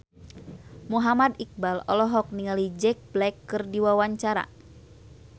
Muhammad Iqbal olohok ningali Jack Black keur diwawancara